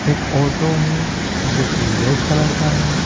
एक ऑटो है जो की रेड कलर का है।